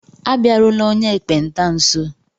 Abịarula onye ekpenta nso!